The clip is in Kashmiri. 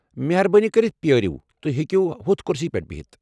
مہربٲنی کٔرتھ پیٲرِو، تُہۍ ہیكِو ہُتھ كُرسی پیٹھ بِہِتھ ۔